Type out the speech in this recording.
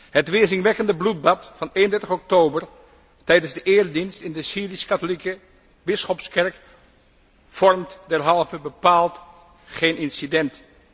Het weerzinwekkende bloedbad van 31 oktober tijdens de eredienst in de Syrisch katholieke bisschopskerk vormt derhalve bepaald geen incident.